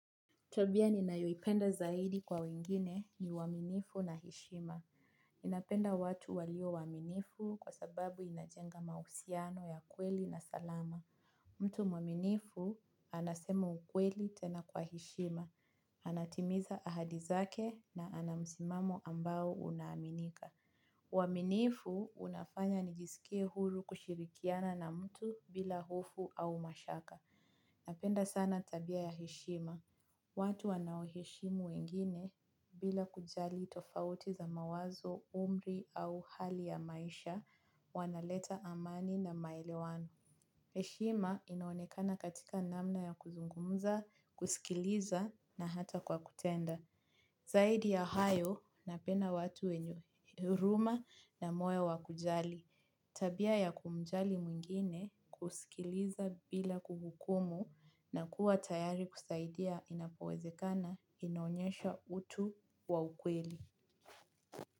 Tabia ninayoipenda zaidi kwa wengine ni waminifu na heshima. Napenda watu walio waminifu kwa sababu inajenga mahusiano ya kweli na salama. Mtu mwaminifu anasema ukweli tena kwa heshima. Anatimiza ahadi zake na ana msimamo ambao una aminika. Waminifu unafanya nijisikie huru kushirikiana na mtu bila hofu au mashaka. Napenda sana tabia ya heshima. Watu wanaoheshimu wengine bila kujali tofauti za mawazo, umri au hali ya maisha wanaleta amani na maelewano. Heshima inaonekana katika namna ya kuzungumza, kusikiliza na hata kwa kutenda. Zaidi ya hayo, napenda watu wenye huruma na moyo wakujali. Tabia ya kumjali mwingine kusikiliza bila kuhukumu na kuwa tayari kusaidia inapowezekana inaonyesha utu wa ukweli.